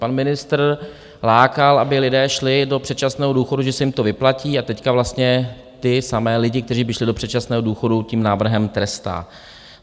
Pan ministr lákal, aby lidé šli do předčasného důchodu, že se jim to vyplatí, a teď vlastně ty samé lidi, kteří by šli do předčasného důchodu, tím návrhem trestá.